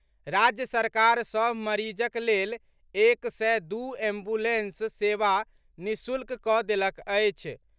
राज्य सरकार सभ मरीजक लेल एक सय दू एम्बुलेंस सेवा निःशुल्क कऽ देलक अछि।